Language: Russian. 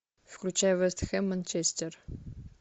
включай вест хэм манчестер